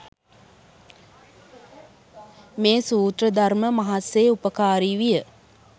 මේ සූත්‍ර ධර්ම මහත්සේ උපකාරී විය.